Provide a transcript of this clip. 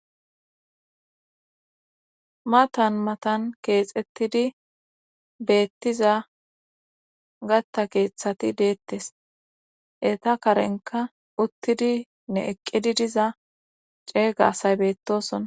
matan matan keexettidi beettiza gatta keeththati deettes eta karenka uttidi ne eqqidi diza ceeygasay beettosona